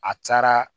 A cayara